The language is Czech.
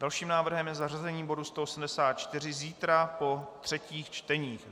Dalším návrhem je zařazení bodu 184 zítra po třetích čteních.